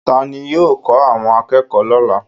Ta ni yóò kọ́ àwọn akẹ́kọ̀ọ́ lọ́la?